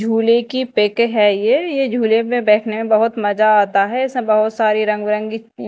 झूले की पिक है ये ये झूले में बैठने बहोत मजा आता है इसमें बहुत सारे रंग बिरंगी--